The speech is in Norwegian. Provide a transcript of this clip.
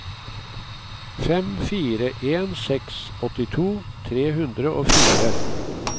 fem fire en seks åttito tre hundre og fire